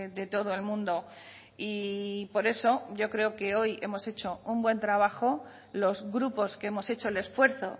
de todo el mundo y por eso yo creo que hoy hemos hecho un buen trabajo los grupos que hemos hecho el esfuerzo